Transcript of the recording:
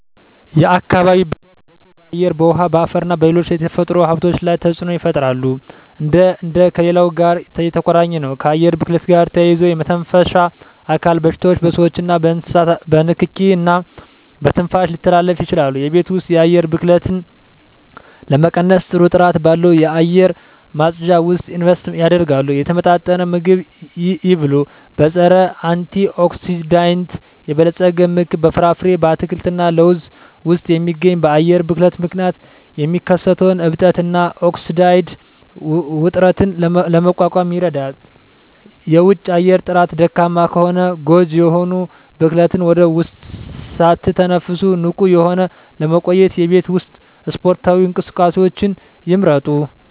የአካባቢ ብክለት በሰው በአየር በውሀ በአፈርና በሌሎች የተፈጥሮ ሀብቶች ላይ ተፅኖ ይፈጥራሉ አንዱ ከሌላው ጋር የተቆራኘ ነው ከአየር ብክለት ጋር ተያይዞ የመተንፈሻ አካል በሽታዎች በስዎችና በእንስሳት በንኪኪ እና በትንፋሽ ሊተላለፉ ይችላሉ የቤት ውስጥ የአየር ብክለትን ለመቀነስ ጥሩ ጥራት ባለው አየር ማጽጃ ውስጥ ኢንቨስት ያድርጉ። የተመጣጠነ ምግብ ይብሉ; በፀረ-አንቲኦክሲዳንት የበለፀገ ምግብ (በፍራፍሬ፣ አትክልት እና ለውዝ ውስጥ የሚገኝ) በአየር ብክለት ምክንያት የሚከሰተውን እብጠት እና ኦክሳይድ ውጥረትን ለመቋቋም ይረዳል። የውጪ አየር ጥራት ደካማ ከሆነ ጎጂ የሆኑ ብክለትን ወደ ውስጥ ሳትተነፍሱ ንቁ ሆነው ለመቆየት የቤት ውስጥ ስፖርታዊ እንቅስቃሴዎችን ይምረጡ።